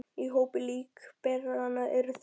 Í hópi líkberanna eru þrír bræður